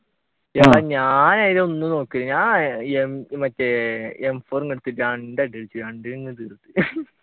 ഞാൻ നേരെ ഒന്നും നോക്കീല ഞാൻ മറ്റേ m four എടുത്ത് രണ്ടു അടി അടിച്ചു